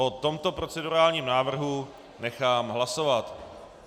O tomto procedurálním návrhu nechám hlasovat.